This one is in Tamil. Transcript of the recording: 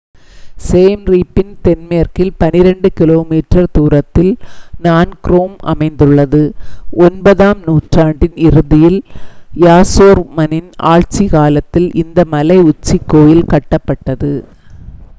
siem reap இன் தென்மேற்கில் 12 கி.மீ தூரத்தில் phnom krom அமைந்துள்ளது 9ஆம் நூற்றாண்டின் இறுதியில் யசோவர்மனின் ஆட்சிக் காலத்தில் இந்த மலை உச்சிக் கோயில் கட்டப்பட்டது